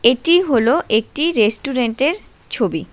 এটি হল একটি রেস্টুরেন্টের ছবি।